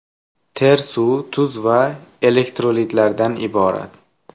Ter suv, tuz va elektrolitlardan iborat.